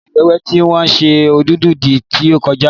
Oṣù Ọ̀wẹ̀wẹ̀ ni wọ́n ṣe mọ̀lúùdì tí ó kọjá.